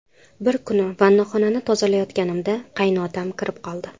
Bir kuni vannaxonani tozalayotganimda qaynotam kirib qoldi.